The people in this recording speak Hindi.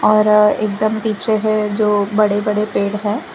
और एकदम पीछे है जो बड़े बड़े पेड़ हैं।